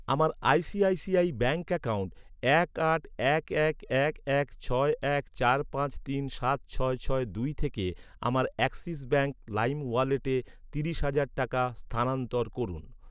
আমার ICICI bank account এক আট এক এক এক এক ছয় এক চার পাঁচ তিন সাত ছয় ছয় দুই থেকে আমার অ্যাক্সিস ব্যাঙ্ক লাইম ওয়ালেটে তিরিশ হাজার টাকা স্থানান্তর করুন।